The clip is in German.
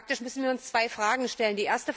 Faktisch müssen wir uns zwei Fragen stellen.